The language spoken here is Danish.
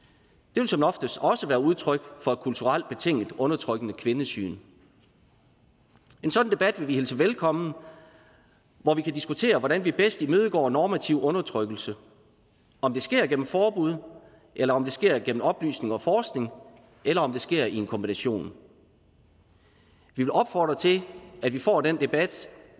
det vil som oftest også være udtryk for et kulturelt betinget undertrykkende kvindesyn en sådan debat vil vi hilse velkommen hvor vi kan diskutere hvordan vi bedst imødegår normativ undertrykkelse om det sker gennem forbud eller om det sker gennem oplysning og forskning eller om det sker i en kombination vi vil opfordre til at vi får den debat